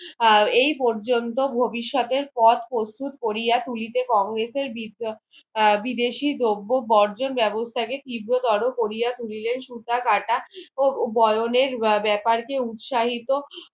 আহ এই পর্যন্তু ভবিষৎ এর পর প্রস্তুত কোরিয়া তুলিতে কংগ্রেসের বিদেশী দ্রব বর্জন বেবস্থা কে তীব্র তোর কোরিয়া তুলিলে সুতা কাটা ও বয়নের বেপার কে উৎসাহিত